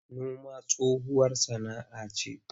Noma tsohuwar sana'ce.